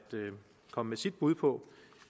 komme med sit bud på